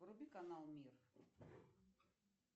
вруби канал мир